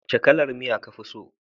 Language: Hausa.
Wace kalar miya ka fi so